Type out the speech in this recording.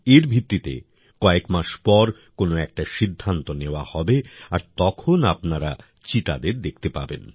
এর ভিত্তিতে কয়েক মাস পর কোনও একটা সিদ্ধান্ত নেওয়া হবে আর তখন আপনারা চিতাদের দেখতে পাবেন